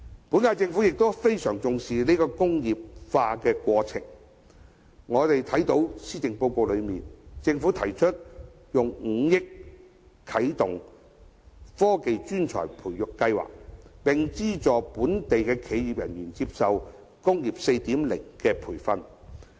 本屆政府亦非常重視再工業化的過程，我們從施政報告中看到，政府提出以5億元啟動科技專才培育計劃，並資助本地的企業人員接受"工業 4.0" 的培訓。